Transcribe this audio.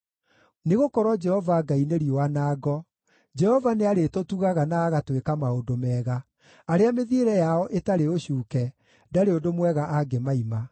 Nĩgũkorwo Jehova Ngai nĩ riũa na ngo; Jehova nĩarĩtũtugaga na agatwĩka maũndũ mega; arĩa mĩthiĩre yao ĩtarĩ ũcuuke ndarĩ ũndũ mwega angĩmaima.